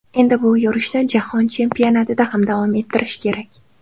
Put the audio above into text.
Endi bu yurishni Jahon chempionatida ham davom ettirish kerak.